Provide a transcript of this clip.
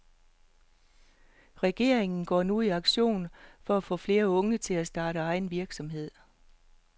Regeringen går nu i aktion for at få flere unge til at starte egen virksomhed.